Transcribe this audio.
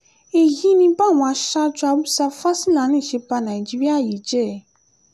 èyí ni báwọn aṣáájú haúsá-fásilani ṣe ba nàìjíríà yìí jẹ́